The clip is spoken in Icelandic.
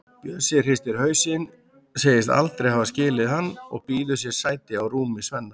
Bjössi hristir hausinn, segist aldrei hafa skilið hann og býður sér sæti á rúmi Svenna.